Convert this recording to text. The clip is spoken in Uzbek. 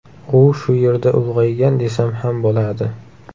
U shu yerda ulg‘aygan, desam ham bo‘ladi.